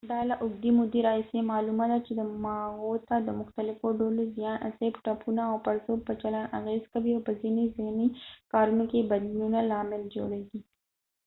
دا له اوږدې مودې راهیسې معلومه ده چې دماغو ته د مختلفو ډولو زیان اسیب ټپونه او پړسوب په چلند اغېز کوي او په ځینې ذهني کارونو کې بدلونونو لامل جوړیږي